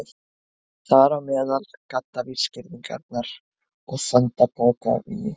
Þar á meðal gaddavírsgirðingar og sandpokavígi.